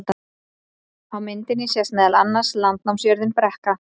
á myndinni sést meðal annars landnámsjörðin brekka